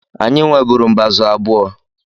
Anyị nweburu mbázụ̀ abụọ.